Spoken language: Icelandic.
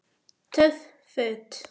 Töff Föt